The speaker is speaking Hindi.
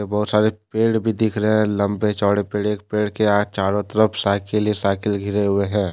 बहुत सारे पेड़ भी दिख रहे है लंबे चौड़े पेड़ एक पेड़ के चारों तरफ साइकिल ही साइकिल घिरे हुए हैं।